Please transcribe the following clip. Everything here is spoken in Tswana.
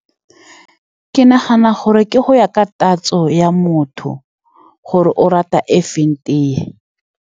Ke nagana gore ke go ya ka tatso ya motho, gore o rata e feng tea.